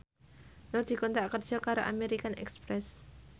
Nur dikontrak kerja karo American Express